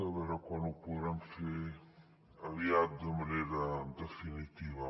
a veure quan ho podrem fer aviat de manera definitiva